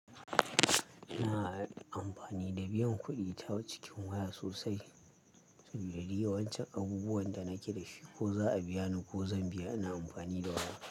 Ina amfani da biyan kuɗi ta cikin waya sosai sabida duk yawancin abubuwan da nake da shi ko za a biya ni ko zan biya ina amfani da waya.